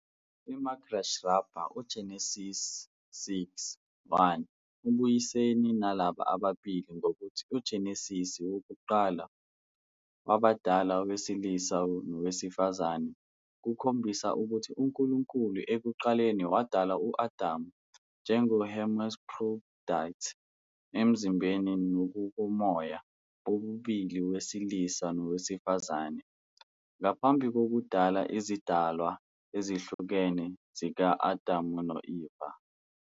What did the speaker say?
IMidrash Rabbah - UGenesise VIII- 1 ubuyisene nalaba ababili ngokuthi uGenesise wokuqala, "wabadala owesilisa nowesifazane", kukhombisa ukuthi uNkulunkulu ekuqaleni wadala u-Adamu njenge- hermaphrodite, emzimbeni nangokomoya bobabili owesilisa nowesifazane, ngaphambi kokudala izidalwa ezihlukene zika-Adamu no-Eva.